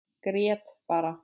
Grét bara.